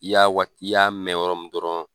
I y'a wa i y'a mɛn yɔrɔ min dɔrɔn